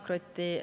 Hea Kaja Kallas!